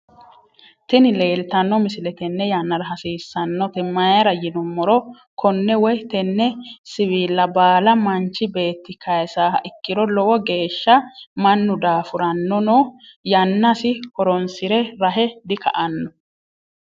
Tini leeltano misile tene yannara hasissanote mayirra yinuumoro konne woy tenne siwilla balla manich betti kaysaha ikkiro lowo geshsha mannu daffuranonoo yannasi hoorosire rahe dika'anoo